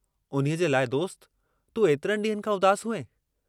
उन्हीअ जे लाइ दोस्त, तूं एतिरनि डींहंनि खां उदास हुएं।